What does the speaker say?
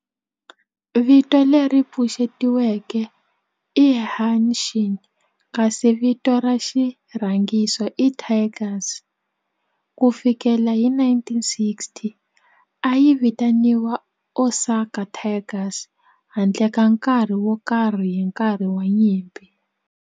Vito leri pfuxetiweke i"Hanshin" kasi vito ra xirhangiso i"Tigers". Ku fikela hi 1960, a yi vitaniwa Osaka Tigers handle ka nkarhi wo karhi hi nkarhi wa nyimpi.